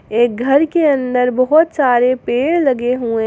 एक घर के अन्दर बहुत सारे पेड़ लगे हुए--